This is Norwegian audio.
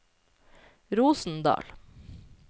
Rosendal